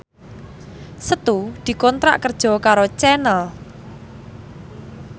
Setu dikontrak kerja karo Channel